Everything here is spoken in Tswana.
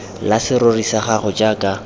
la serori sa gago jaaka